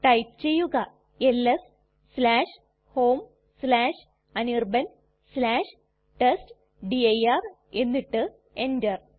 type ചെയ്യുക LS homeanirbantestdir എന്നിട്ട് enter